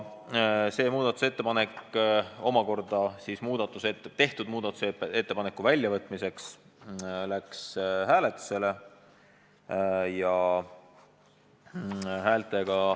See muudatusettepanek varem tehtud muudatusettepaneku väljavõtmiseks läks hääletusele.